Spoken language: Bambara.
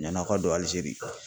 Ɲan'aw ka don ALIZERI.